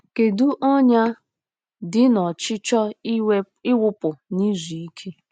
Kedu ọnyà dị n'ọchịchọ ịwụpụ na izuike?